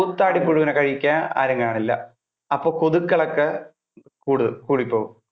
ഈ കൂത്താടി പുഴുവിനെ കഴിക്കാൻ ആരും കാണില്ല. അപ്പൊ ഈ കൊതുക്കൾ ഒക്കെ കു~കൂടിപോകും.